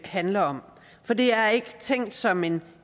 handler om for det er ikke tænkt som en